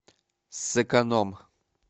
сэконом